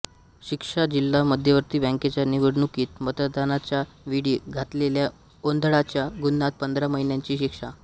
शिक्षा जिल्हा मध्यवर्ती बँकेच्या निवडणुकीत मतदानाच्या वेळी घातलेल्या गोंधळाच्या गुन्ह्यात पंधरा महिन्यांची शिक्षा